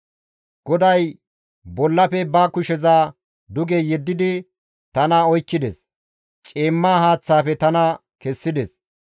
GODAY bollafe ba kusheza duge yeddidi tana oykkides; ciimma haaththafe tana kessides.